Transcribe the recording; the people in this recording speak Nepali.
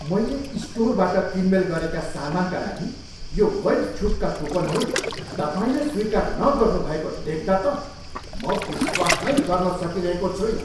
मैले स्टोरबाट किनमेल गरेका सामानका लागि यो वैध छुटका कुपनहरू तपाईँले स्वीकार नगर्नु भएको देख्दा त म विश्वास नै गर्न सकिरहेको छुइनँ।